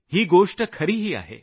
ही गोष्ट खरीही आहे